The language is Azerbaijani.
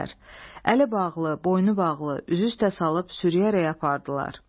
Əli bağlı, boynu bağlı, üzü üstə salıb sürüyərək apardılar.